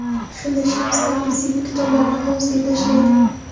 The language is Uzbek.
Shunda Shams Tabriziy bu kitoblarni hovuzga tashlaydi.